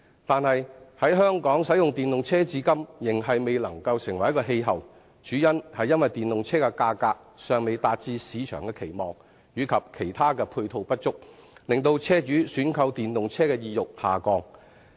但是，在香港使用電動車至今仍未成氣候，主因是電動車的價格尚未達至市場的期望，以及其他配套不足，影響車主選購電動車的意欲。